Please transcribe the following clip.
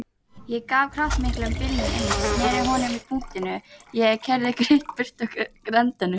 Ég gaf kraftmiklum bílnum inn, sneri honum á punktinum og keyrði greitt burt af Grandanum.